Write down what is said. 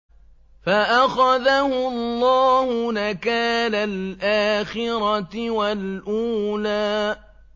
فَأَخَذَهُ اللَّهُ نَكَالَ الْآخِرَةِ وَالْأُولَىٰ